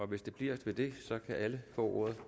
hvis det bliver ved det kan alle få ordet